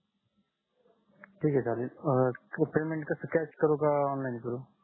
ठीक आहे चालेल पेमेंट कस कॅश करू का ऑनलाइन करू